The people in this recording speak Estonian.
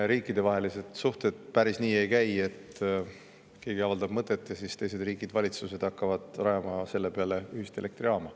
Riikidevahelised suhted päris nii ei käi, et keegi avaldab mingi mõtte ja siis teiste riikide valitsused hakkavad selle peale rajama ühist elektrijaama.